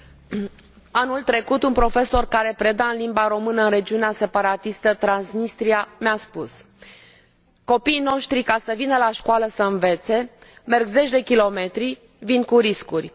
Domnule președinte, anul trecut un profesor care preda în limba română în regiunea separatistă Transnistria mi a spus Copiii noștri, ca să vină la școală să învețe, merg zeci de kilometri, vin cu riscuri.